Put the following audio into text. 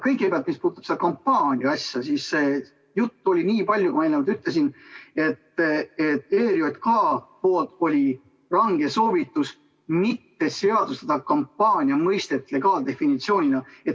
Kõigepealt, mis puudutab seda kampaania-asja, siis juttu oli nii palju, nagu ma eelnevalt ütlesin, et ERJK-lt oli range soovitus mitte seadustada kampaania mõistet legaaldefinitsioonina.